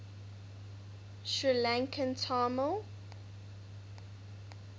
sri lankan tamil